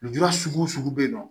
Lujura sugu o sugu be yen nɔ